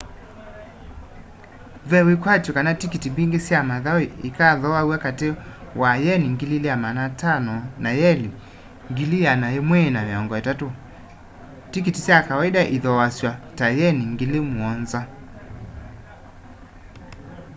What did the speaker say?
ve wikwatyo kana tikiti mbingi sya mathau ikathooaw'a kati wa yeni 2,500 na yeni 130,000 tikiti sya kawaida iithoasw'a ta yeni 7,000